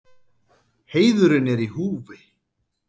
Heiðurinn er í húfi.